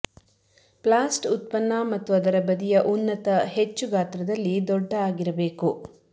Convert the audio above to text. ಪ್ಲಾಸ್ಟ್ ಉತ್ಪನ್ನ ಮತ್ತು ಅದರ ಬದಿಯ ಉನ್ನತ ಹೆಚ್ಚು ಗಾತ್ರದಲ್ಲಿ ದೊಡ್ಡ ಆಗಿರಬೇಕು